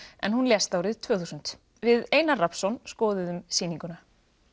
en hún lést árið tvö þúsund við Einar Rafnsson skoðuðum sýninguna